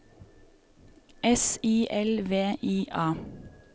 S I L V I A